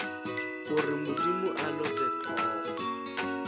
gore modimo a lote hlogo